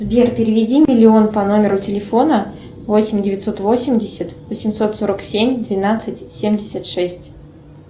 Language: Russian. сбер переведи миллион по номеру телефона восемь девятьсот восемьдесят восемьсот сорок семь двенадцать семьдесят шесть